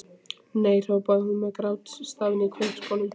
Nei hrópaði hún með grátstafinn í kverkunum.